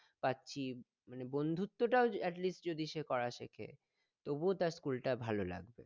পাচ্ছি মানে বন্ধুত্বটাও atleast যদি সে করা শেখে তবুও তার school টা ভালো লাগবে